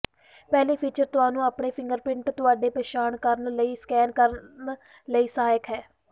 ਪਹਿਲੀ ਫੀਚਰ ਤੁਹਾਨੂੰ ਆਪਣੇ ਫਿੰਗਰਪ੍ਰਿੰਟ ਤੁਹਾਡੀ ਪਛਾਣ ਕਰਨ ਲਈ ਸਕੈਨ ਕਰਨ ਲਈ ਸਹਾਇਕ ਹੈ